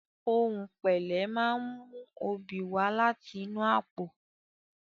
Ohùn pẹ̀lẹ́ máa ń mú oobi wá láti inú àpò.